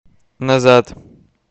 назад